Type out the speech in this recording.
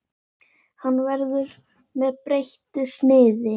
Hann verður með breyttu sniði.